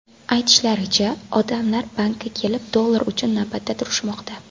Aytishlaricha, odamlar bankka kelib dollar uchun navbatda turishmoqda.